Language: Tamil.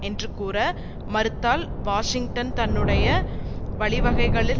என்று கூற மறுத்தால் வாஷிங்டன் தன்னுடைய வழிவகைகளில்